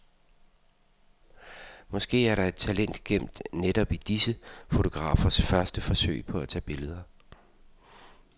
Måske er der et talent gemt i netop disse fotografers første forsøg på at tage billeder.